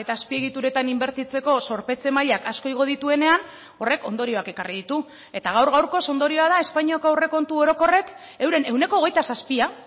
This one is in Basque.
azpiegituretan inbertitzeko zorpetze mailak asko igo dituenean horrek ondorioak ekarri ditu eta gaur gaurkoz ondorioa da espainiako aurrekontu orokorrek euren ehuneko hogeita zazpia